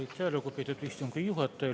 Aitäh, lugupeetud istungi juhataja!